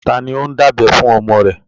Ta ni ó ń dábẹ fún ọmọ rẹ?